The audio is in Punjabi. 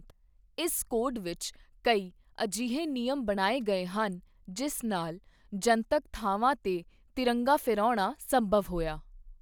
ਇਸ ਕੋਡ ਵਿੱਚ ਕਈ ਅਜਿਹੇ ਨਿਯਮ ਬਣਾਏ ਗਏ ਹਨ ਜਿਸ ਨਾਲ ਜਨਤਕ ਥਾਵਾਂ ਤੇ ਤਿਰੰਗਾ ਫਹਿਰਾਉਣਾ ਸੰਭਵ ਹੋਇਆ।